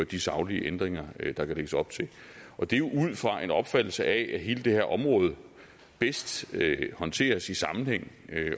de saglige ændringer der kan lægges op til og det er jo ud fra en opfattelse af at hele det her område bedst håndteres i sammenhæng